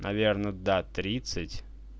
наверное да тридцать